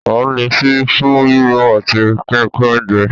À ń lo ṣíbí fún rírò àti pínpín oúnjẹ